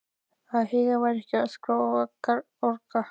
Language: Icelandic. Að Heiða væri ekki að öskra og orga.